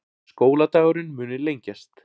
Skóladagurinn muni lengjast